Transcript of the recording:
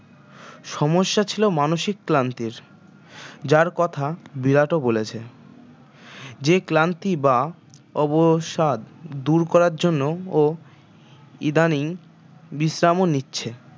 সমস্যা ছিল মানসিক ক্লান্তির যার কথা বিরাটও বলেছে যে ক্লান্তি বা অবসাদ দুর করার জন্য ও ইদানিং বিশ্রামও নিচ্ছে